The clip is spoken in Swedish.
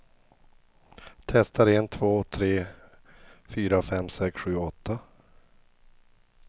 Testar en två tre fyra fem sex sju åtta.